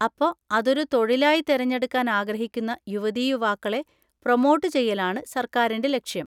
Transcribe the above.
അപ്പോ അതൊരു തൊഴിലായി തെരഞ്ഞെടുക്കാൻ ആഗ്രഹിക്കുന്ന യുവതീയുവാക്കളെ പ്രൊമോട്ട് ചെയ്യലാണ് സര്‍ക്കാരിൻ്റെ ലക്ഷ്യം.